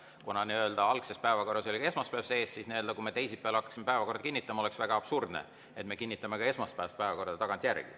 Kuna algses päevakorras oli ka esmaspäev sees, siis kui me teisipäeval hakkame päevakorda kinnitama, oleks väga absurdne, kui me kinnitame ka esmaspäevase päevakorra tagantjärele.